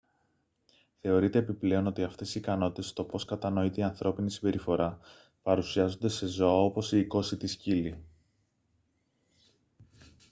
θεωρείται επιπλέον ότι αυτές οι ικανότητες στο πως κατανοείται η ανθρώπινη συμπεριφορά παρουσιάζονται σε ζώα όπως οι οικόσιτοι σκύλοι